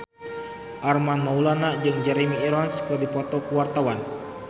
Armand Maulana jeung Jeremy Irons keur dipoto ku wartawan